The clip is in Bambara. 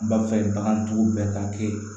B'a fɛ bagantigiw bɛɛ ka kɛ